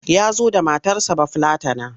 Ya zo da matarsa Bafillatana.